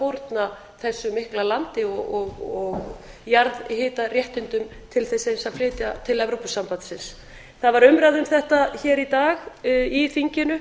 fórna þessu mikla landi og jarðhitaréttindum til þess eins að flytja það til evrópusambandsins það var umræða um þetta hér í dag í þinginu